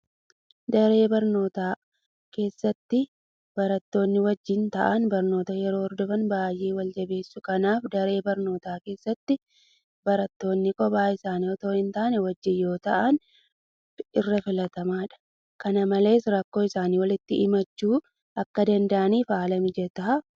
Daree barnootaa keessatti barattootni wajjin taa'anii barnoota yeroo hordofan baay'ee waljabeessu. Kanaaf daree barnootaa keessatti barattoonni kophaa isaanii itoo hin taane wajjin yoo taa'an irra filatamaadha. Kana malees rakkoo isaanii walitti himachuu akka danda'aniif haala mijataa uuma.